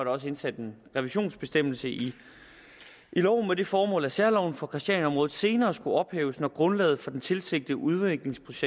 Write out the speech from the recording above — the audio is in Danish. også indsat en revisionsbestemmelse i loven med det formål at særloven for christianiaområdet senere skulle ophæves når grundlaget for den tilsigtede udviklingsproces